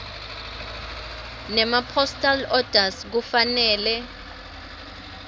nemapostal orders kufanele